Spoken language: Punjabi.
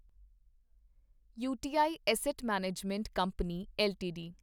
you T I asset management company LTD